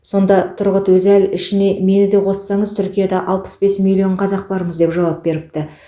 сонда тұрғұт өзәл ішіне мені де қоссаңыз түркияда алпыс бес миллион қазақ бармыз деп жауап беріпті